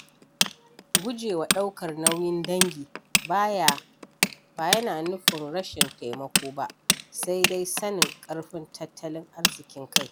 Gujewa ɗaukar nauyin dangi ba yana nufin rashin taimako ba, sai dai sanin ƙarfin tattalin arzikin Kai.